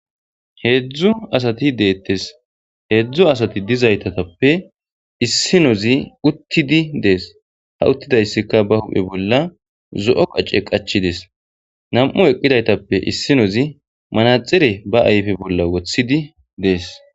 Heedzdzu asati deettes heedzdzu asati dizaytatappe issinozi uttidi dees hauttidayssikka ba huphe bolla zo'o qace qachides nam'u eqqidaytappe issinozi manaxire baayfe bolla wothidi dees.